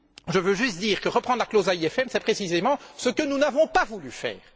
Je veux juste dire que reprendre la clause AIFM, c'est précisément ce que nous n'avons pas voulu faire!